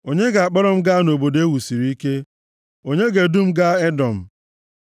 Onye ga-akpọrọ m gaa nʼobodo e wusiri ike? Onye ga-edu m gaa Edọm?